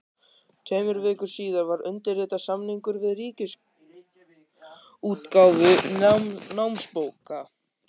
Tveimur vikum síðar var undirritaður samningur við Ríkisútgáfu námsbóka.